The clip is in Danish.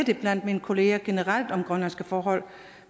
blandt mine kolleger generelt at om grønlandske forhold